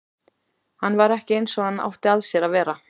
Hann var ekki eins og hann átti að sér að vera.